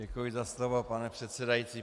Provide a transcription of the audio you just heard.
Děkuji za slovo, pane předsedající.